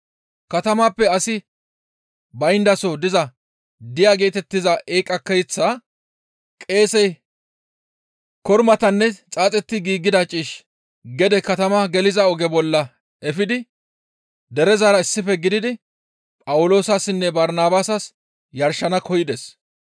Katamaappe asi bayndason diza Diya geetettiza eeqa keeththa qeesey kormatanne xaaxetti giigida ciish gede katama geliza oge bolla efidi derezara issife gididi Phawuloosassinne Barnabaasas yarshana koyides.